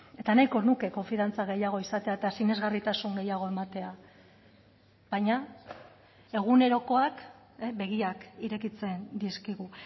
eta nahiko nuke konfiantza gehiago izatea eta sinesgarritasun gehiago ematea baina egunerokoak begiak irekitzen dizkigu